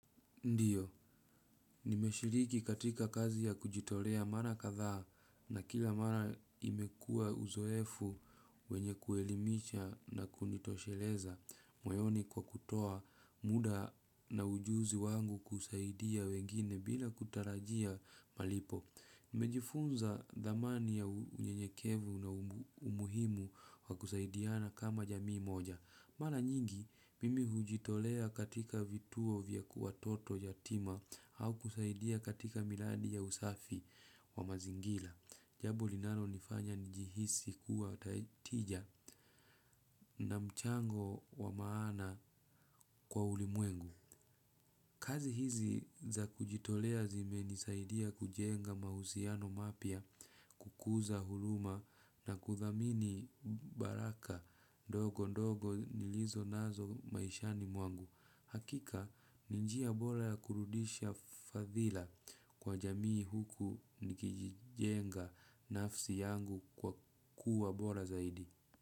Ndiyo, nimeshiriki katika kazi ya kujitolea mara katha na kila mara imekua uzoefu wenye kuelimisha na kunitosheleza, moyoni kwa kutoa muda na ujuzi wangu kusaidia wengine bila kutarajia malipo. Nimejifunza dhamani ya unyenyekevu na umuhimu wakusaidiana kama jamii moja. Mara nyingi, mimi hujitolea katika vituo vya kuwatoto yatima au kusaidia katika miladi ya usafi wa mazingila. Jabo linanonifanya nijihisi kuwa tijia na mchango wa maana kwa ulimwengu. Kazi hizi za kujitolea zimenisaidia kujenga mahusiano mapia, kukuza huluma na kuthamini baraka, ndogo ndogo nilizo nazo maishani mwangu. Hakika, ni njia bola ya kurudisha fadhila kwa jamii huku nikijenga nafsi yangu kwa kuwa bola zaidi.